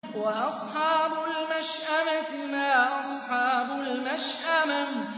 وَأَصْحَابُ الْمَشْأَمَةِ مَا أَصْحَابُ الْمَشْأَمَةِ